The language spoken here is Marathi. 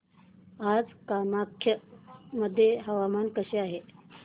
आज कामाख्या मध्ये हवामान कसे आहे